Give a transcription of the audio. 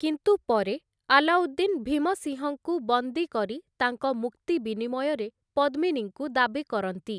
କିନ୍ତୁ ପରେ, ଆଲାଉଦ୍ଦିନ୍ ଭୀମସିଂହଙ୍କୁ ବନ୍ଦୀ କରି ତାଙ୍କ ମୁକ୍ତି ବିନିମୟରେ ପଦ୍ମିନୀଙ୍କୁ ଦାବି କରନ୍ତି ।